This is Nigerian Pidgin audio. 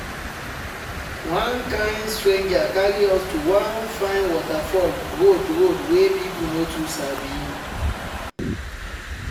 one kind stranger carry us to one fine waterfall road road wey people no too sabi.